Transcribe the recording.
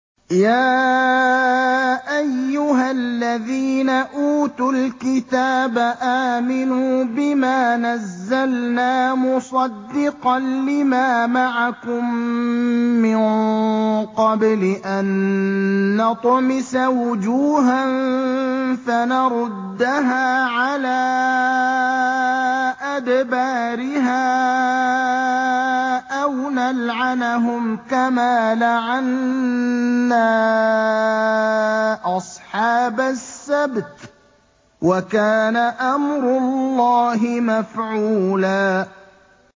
يَا أَيُّهَا الَّذِينَ أُوتُوا الْكِتَابَ آمِنُوا بِمَا نَزَّلْنَا مُصَدِّقًا لِّمَا مَعَكُم مِّن قَبْلِ أَن نَّطْمِسَ وُجُوهًا فَنَرُدَّهَا عَلَىٰ أَدْبَارِهَا أَوْ نَلْعَنَهُمْ كَمَا لَعَنَّا أَصْحَابَ السَّبْتِ ۚ وَكَانَ أَمْرُ اللَّهِ مَفْعُولًا